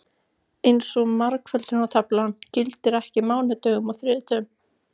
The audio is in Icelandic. Eins og margföldunartaflan gilti ekki á mánudögum og þriðjudögum.